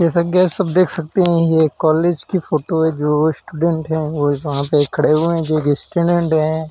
जैसा कि गाइस सब देख सकते है। ये कॉलेज की फोटो है जो स्टूडेंट है वो वहा पे खड़े हुए हैं जो एक स्टूडेंट है